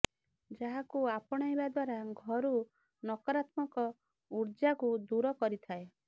ଯାହାକୁ ଆପଣାଇବା ଦ୍ବାରା ଘରୁ ନକାରାତ୍ମକ ଉର୍ଜାକୁ ଦୂର କରିଥାଏ